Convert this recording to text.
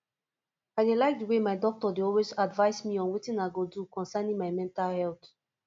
i dey like the way my doctor dey always advice me on wetin i go do concerning my mental health